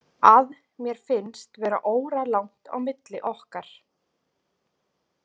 Að mér finnst vera óralangt á milli okkar.